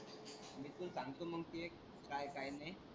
मी तुले सांगतो मग ते काय काय नाही.